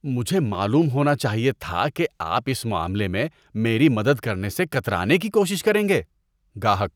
مجھے معلوم ہونا چاہیے تھا کہ آپ اس معاملے میں میری مدد کرنے سے کترانے کی کوشش کریں گے۔ (گاہک)